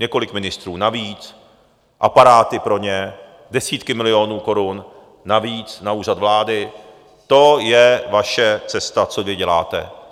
Několik ministrů navíc, aparáty pro ně, desítky milionů korun navíc na Úřad vlády, to je vaše cesta, co vy děláte.